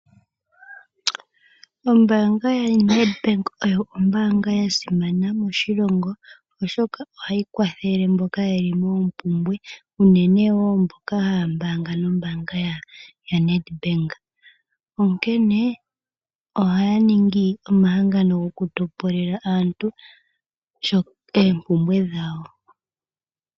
Ombaanga yaNedbank oyo ombaanga ya simana moshilongo, oshoka ohayi kwathele mboka ye li moompumbwe unene tuu mboka haya mbaanga nombaanga yaNedbank. Onkene ohaya ningi omahangano gokutopolela aantu oompumbwe dhawo.